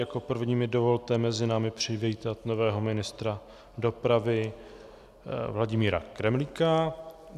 Jako první mi dovolte mezi námi přivítat nového ministra dopravy Vladimíra Kremlíka.